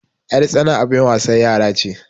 yartsana abin wasan yara ce